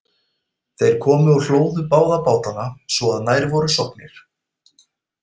Þeir komu og hlóðu báða bátana svo að nær voru sokknir.